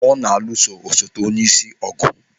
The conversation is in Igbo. Ọ na-alụso osote onyeisi ọgụ.